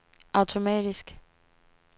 automatisk